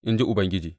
in ji Ubangiji.